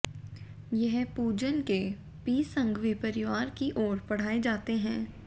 यह पूजन K P Sanghvi परिवार की ओर पढाये जाते हैं